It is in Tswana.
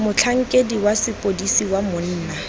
motlhankedi wa sepodisi wa monna